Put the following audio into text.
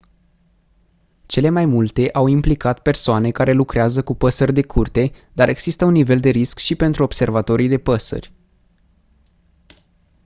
cele mai multe au implicat persoane care lucrează cu păsări de curte dar există un nivel de risc și pentru observatorii de păsări